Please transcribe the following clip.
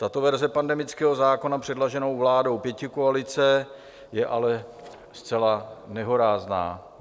Tato verze pandemického zákona předloženého vládou pětikoalice je ale zcela nehorázná.